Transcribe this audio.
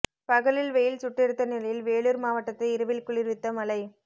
பகலில் வெயில் சுட்டெரித்த நிலையில் வேலூர் மாவட்டத்தை இரவில் குளிர்வித்த மழை